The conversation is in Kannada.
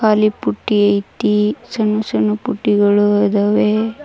ಪುಟ್ಟಿ ಇಟ್ಟಿ ಸನ್ನು ಸನ್ನು ಪುಟ್ಟಿಗಳು ಇದಾವೆ.